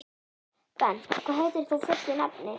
Bent, hvað heitir þú fullu nafni?